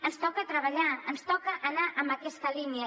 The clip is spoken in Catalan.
ens toca treballar ens toca anar en aquesta línia